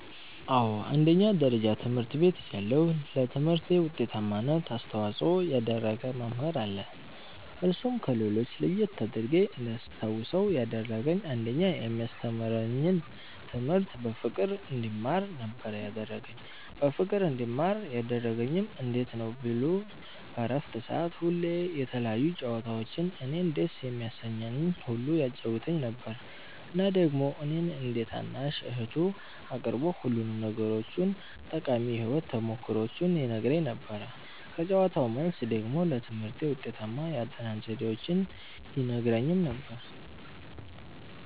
አዎ አንደኛ ደረጃ ትምህርት ቤት እያለሁ ለትምህርቴ ዉጤታማነት አስተዋፅኦ ያደረገ መምህር አለ እርሱም ከሌሎች ለየት አድርጌ እንዳስታዉሰዉ ያደረገኝ አንደኛ የሚያስተምረኝን ትምህርት በፍቅር እንድማር ነበረ ያደረገኝ በፍቅር እንድማር ያደረገኝም እንዴት ነዉ ቢሉ በረፍት ሰዓት ሁሌ የተለያዩ ጨዋታዎችን እኔን ደስ የሚያሰኘኝን ሁሉ ያጫዉተኝ ነበረ እና ደግሞ እኔን እንደ ታናሽ እህቱ አቅርቦ ሁሉንም ነገሮቹን ጠቃሚ የህይወት ተሞክሮዎቹን ይነግረኝ ነበረ ከጨዋታዉ መልስ ደግሞ ለትምህርቴ ውጤታማ የአጠናን ዘዴዎችን ይነግረኝም ነበረ።